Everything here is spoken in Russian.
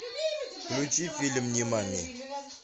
включи фильм нимани